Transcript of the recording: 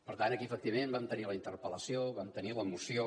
per tant aquí efectivament vam tenir la interpel·lació vam tenir la moció